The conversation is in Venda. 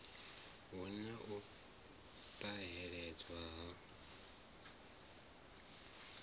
hu na u ṱahedzwa ha